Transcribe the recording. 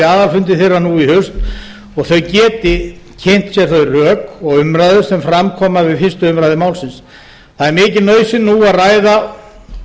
aðalfundi þeirra nú í haust og þau geti kynnt sér þau rök og umræður sem fram koma við fyrstu umræðu málsins það er mikil nauðsyn nú að ræða